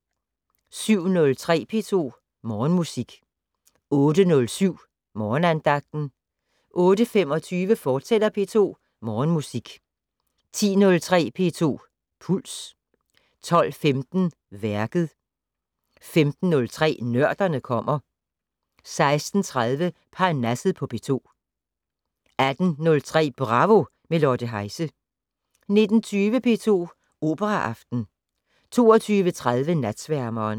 07:03: P2 Morgenmusik 08:07: Morgenandagten 08:25: P2 Morgenmusik, fortsat 10:03: P2 Puls 12:15: Værket 15:03: Nørderne kommer 16:30: Parnasset på P2 18:03: Bravo - med Lotte Heise 19:20: P2 Operaaften 22:30: Natsværmeren